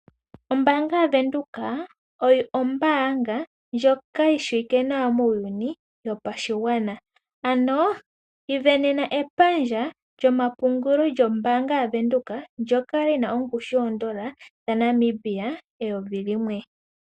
Ombaanga yaVenduka oyo ombaanga ndjoka yishiwike nawa muuyuni wopashigwana ano isindanena epandja lyomapungulo lyombaanga yaVenduka ndjoka lina ongushu yoondola dha Namibia eyovi limwe